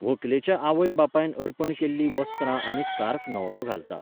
वेगवेगळ्या उद्देगां खातीर दरेका शारांत नॅटवर्किंगाच्यो कार्यावळी जायत आसतात.